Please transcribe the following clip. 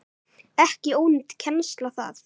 Ekki ónýt kennsla það.